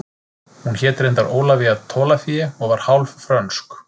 Hún hét reyndar Ólafía Tolafie og var hálf frönsk